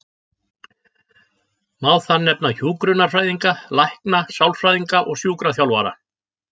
Má þar nefna hjúkrunarfræðinga, lækna, sálfræðinga og sjúkraþjálfara.